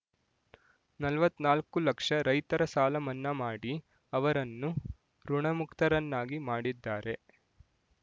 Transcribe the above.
ನಲವತ್ತ್ ನಾಲ್ಕು ಲಕ್ಷ ರೈತರ ಸಾಲ ಮನ್ನಾ ಮಾಡಿ ಅವರನ್ನು ಋಣಮುಕ್ತರನ್ನಾಗಿ ಮಾಡಿದ್ದಾರೆ